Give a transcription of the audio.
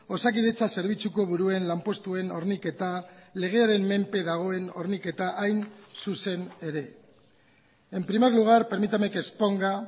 osakidetza zerbitzuko buruen lanpostuen horniketa legearen menpe dagoen horniketa hain zuzen ere en primer lugar permítame que exponga